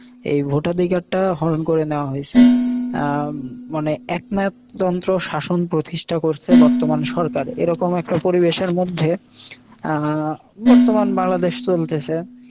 এই ভোটাধিকারটা হরণ করে নেওয়া হইসে। উম মানে একনায়কতন্ত্র শাসন প্রতিষ্ঠা করসে বর্তমান সরকার। এরকম একটা পরিবেশের মধ্যে আহ বর্তমান বাংলাদেশ চলতেছে।